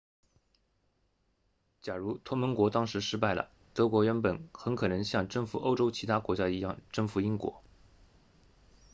假如同盟国当时失败了德国原本很可能像征服欧洲其他国家一样征服英国